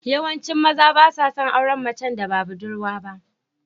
Yawancin maza ba sa son auren macen da ba budurwa ba.